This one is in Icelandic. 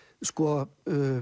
sko